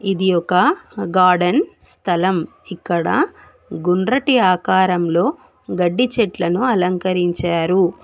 ఇది ఒక గార్డెన్ స్థలం ఇక్కడ గుండ్రటి ఆకారంలో గడ్డి చెట్లను అలంకరించారు.